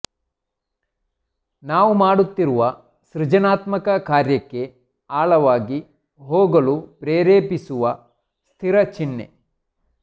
ನಾವು ಮಾಡುತ್ತಿರುವ ಸೃಜನಾತ್ಮಕ ಕಾರ್ಯಕ್ಕೆ ಆಳವಾಗಿ ಹೋಗಲು ಪ್ರೇರೇಪಿಸುವ ಸ್ಥಿರ ಚಿಹ್ನೆ